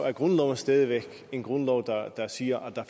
er grundloven stadig væk en grundlov der siger at